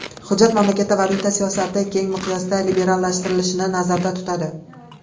Hujjat mamlakatda valyuta siyosatini keng miqyosda liberallashtirilishini nazarda tutadi.